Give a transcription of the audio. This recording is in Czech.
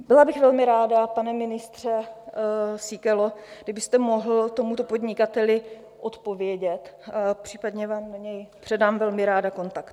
Byla bych velmi ráda, pane ministře Síkelo, kdybyste mohl tomuto podnikateli odpovědět, případně vám na něj předám velmi ráda kontakt.